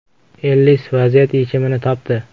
Ellis vaziyat yechimini topdi!